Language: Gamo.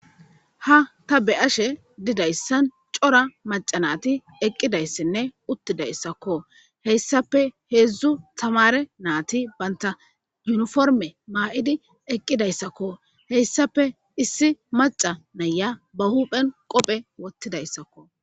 ha ta be'ashe didayssan cora maca naati eqqidayssinne uttidayssakko heyssape heedzdzu tamare naati banta yuniforme maa7idi eqqidayssakko heyssafe issi maca naya ba huphen qophe wottidayssakko